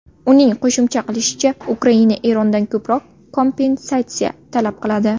Uning qo‘shimcha qilishicha, Ukraina Erondan ko‘proq kompensatsiya talab qiladi.